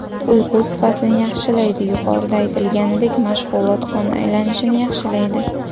Uyqu sifatini yaxshilaydi Yuqorida aytilganidek, mashg‘ulot qon aylanishini yaxshilaydi.